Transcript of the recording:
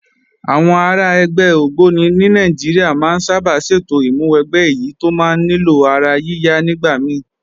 Àwọn ará ẹgbẹ́ ògbóni ní Nàìjíríà máa ń sábà ṣètò ìmúwẹgbẹ́ èyí tó máa ń nílò ara yíya nígbà mí